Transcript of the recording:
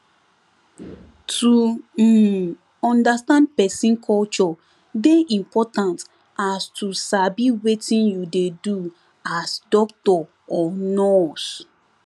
to um understand pesin culture dey important as to sabi wetin you dey do as doctor or nurse